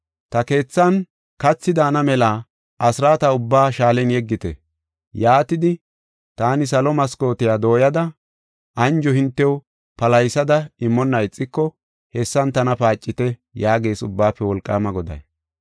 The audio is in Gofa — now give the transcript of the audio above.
Ta keethan kathi daana mela asraata ubba shaalen yeggite. Yaatidi, taani salo maskootiya dooyada anjo hintew palahisada immonna ixiko hessan tana paacite” yaagees Ubbaafe Wolqaama Goday.